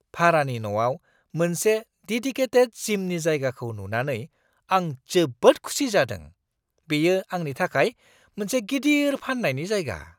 भारानि न'आव मोनसे देदिकेटेद जिमनि जायगाखौ नुनानै आं जोबोद खुसि जादों-बेयो आंनि थाखाय मोनसे गिदिर फान्नायनि जायगा!